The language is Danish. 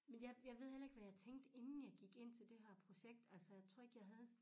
Men jeg jeg ved heller ikke hvad jeg tænkte inden jeg gik ind til det her projekt altså jeg tror ikke jeg havde